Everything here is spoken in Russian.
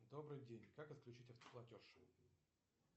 добрый день как отключить автоплатеж